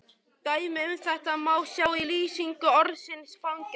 Dæmi um þetta má sjá í lýsingu orðsins fangelsi: